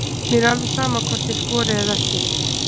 Mér er alveg sama hvort ég skori eða ekki.